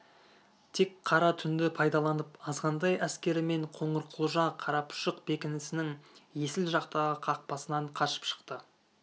тек қара түнді пайдаланып азғантай әскерімен қоңырқұлжа қарапұшық бекінісінің есіл жақтағы қақпасынан қашып шықты